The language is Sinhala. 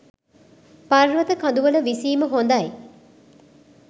පර්වත කඳුවල විසීම හොඳයි.